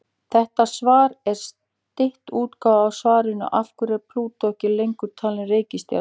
Þetta svar er stytt útgáfa af svarinu Af hverju er Plútó ekki lengur talin reikistjarna?